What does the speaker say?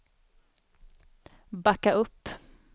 backa upp